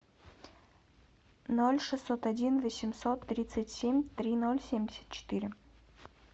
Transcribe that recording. ноль шестьсот один восемьсот тридцать семь три ноль семьдесят четыре